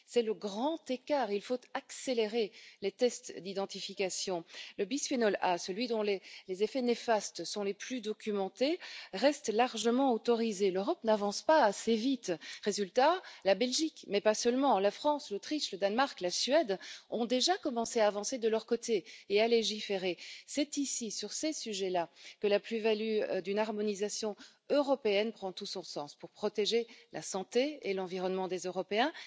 C'est le grand écart il faut accélérer les tests d'identification. Le bisphénol A, celui dont les effets néfastes sont les plus documentés, reste largement autorisé. L'Europe n'avance pas assez vite. Résultat la Belgique, mais pas seulement, la France, l'Autriche, le Danemark, la Suède ont déjà commencé à avancer de leur côté et à légiférer. C'est sur ces sujets là que la plus value d'une harmonisation européenne prend tout son sens. Je vous engage à écouter les chercheurs pour protéger la santé et l'environnement des Européens.